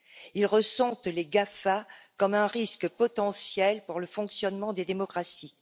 Ils ressentent les GAFA comme un risque potentiel pour le fonctionnement des démocraties.